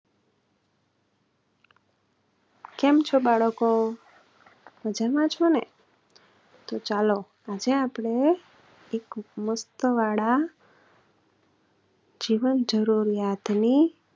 કેમ છો બાળકો? મજામાં છો ને? તો ચાલો આજે આપણે એક વાળા જીવનજરૂરીયાતની